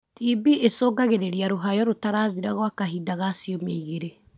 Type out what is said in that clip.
TB icũngagĩrĩria rũhayo rũtarathira gwa kahinda ga ciumia igĩrĩ.